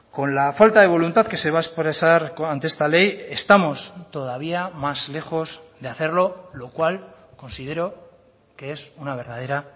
con la falta de voluntad que se va a expresar ante esta ley estamos todavía más lejos de hacerlo lo cual considero que es una verdadera